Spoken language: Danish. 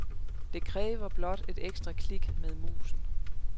Det kræver blot et ekstra klik med musen.